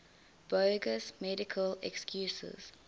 bogus medical excuses